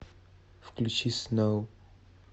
включи сноу